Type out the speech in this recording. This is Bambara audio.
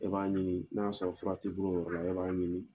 E b'a ɲini n'a y'a sɔrɔ fura t'i bol'o yɔrɔ la i b'a ɲini